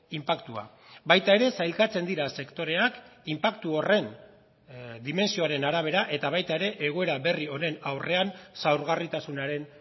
inpaktua baita ere sailkatzen dira sektoreak inpaktu horren dimentsioaren arabera eta baita ere egoera berri honen aurrean zaurgarritasunaren